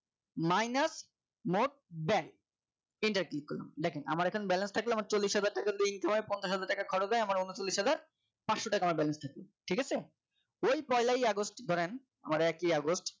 minus মোট bank enter click করলাম দেখেন থাকলেও আমার চল্লিশ হাজার টাকা link এ হয় পঞ্চাশ হাজার টাকা খরচ হয় আমার উনচল্লিশ হাজার পাঁচশো টাকা আমার balance আছে ঠিক আছে ওই পয়লাই আগস্ট ধরেন আমার একই আগস্ট